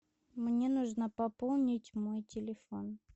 мне нужно пополнить мой телефон